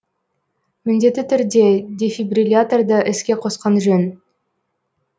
міндетті түрде дефибрилляторды іске қосқан жөн